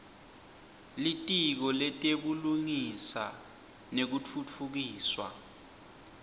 litiko letebulungisa nekutfutfukiswa